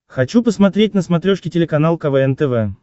хочу посмотреть на смотрешке телеканал квн тв